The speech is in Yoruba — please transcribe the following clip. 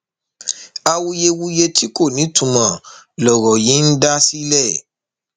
awuyewuye tí kò nítumọ lọrọ yìí ń dá sílẹ